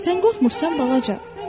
“Sən qorxmursan, balaca?”